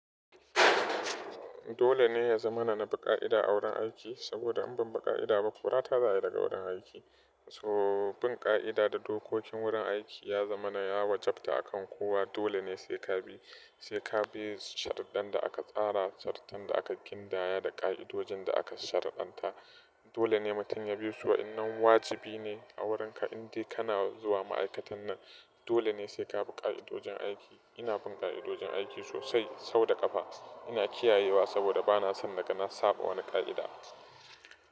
Dole ne ya zamana na bi ƙa'ida a wurin aiki, saboda in ban bi ƙa'ida ba kora ta za yi daga wurin aiki. So, bin ƙa'ida da dokokin wurin aiki ya zama na ya wajabta akan kowa. Dole ne sai ka bi, sai ka bi shartadan da aka tsara, shartadan da aka kindaya, da ƙa'idojin da aka shari'anta. Dole ne mutum ya bi su, in nan wajibi ne a wurinka, in dai kana zuwa ma'aikatan nan. Dole ne sai ka bi ƙa'idojin aiki. Ina bin ƙa'idojin aiki sosai, sau da ƙafa. Ina kiyayewa saboda ba na son naga na saba wani ƙa'ida.